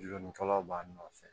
Donnikalaw b'a nɔfɛ